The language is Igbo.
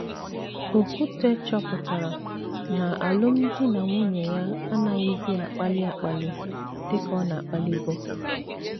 Okwute chọpụtara na alụmdi na nwunye ya anaghịzi akpali akpali dị ka ọ na - akpalibu.